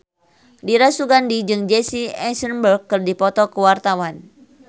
Dira Sugandi jeung Jesse Eisenberg keur dipoto ku wartawan